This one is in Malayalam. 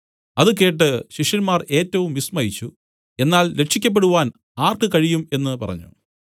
അത് കേട്ട് ശിഷ്യന്മാർ ഏറ്റവും വിസ്മയിച്ചു എന്നാൽ രക്ഷിയ്ക്കപ്പെടുവാൻ ആർക്ക് കഴിയും എന്നു പറഞ്ഞു